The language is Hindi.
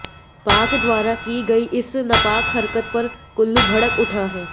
पाक द्वारा की गई इस नापाक हरकत पर कुल्लू भड़क उठा है